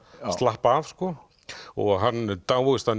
slappa af og hann dáist að